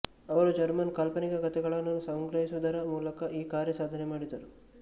ಅವರು ಜರ್ಮನ್ ಕಾಲ್ಪನಿಕ ಕಥೆಗಳನ್ನು ಸಂಗ್ರಹಿಸುವುದರ ಮೂಲಕ ಈ ಕಾರ್ಯ ಸಾಧನೆ ಮಾಡಿದರು